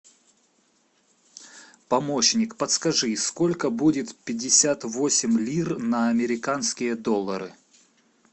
помощник подскажи сколько будет пятьдесят восемь лир на американские доллары